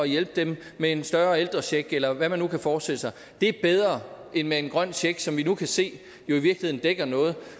hjælpe dem med en større ældrecheck eller hvad man nu kan forestille sig det er bedre end med en grøn check som vi nu kan se i virkeligheden dækker noget